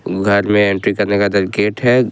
घर में एंट्री करने का गेट है।